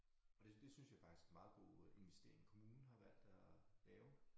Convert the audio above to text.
Og det det synes jeg faktisk er meget god øh investering kommunen har valgt at lave